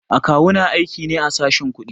A kawu na aiki ne a sashen kuɗi.